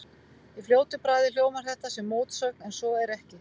Í fljótu bragði hljómar þetta sem mótsögn en svo er ekki.